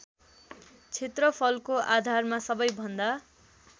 क्षेत्रफलको आधारमा सबैभन्दा